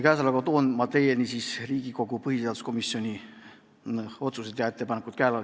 Käesolevaga toon teieni Riigikogu põhiseaduskomisjoni otsused ja ettepanekud.